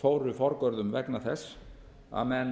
fóru forgörðum vegna þess að menn